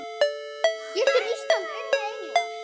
Getur Ísland unnið England?